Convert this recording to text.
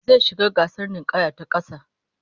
Zai shiga gasar ninkaya ta kasa